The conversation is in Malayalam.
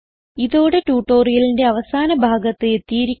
ഇതോടെ ട്യൂട്ടോറിയലിന്റെ അവസാന ഭാഗത്ത് എത്തിയിരിക്കുന്നു